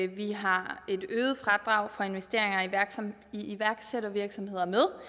vi har et øget fradrag for investeringer i iværksættervirksomheder med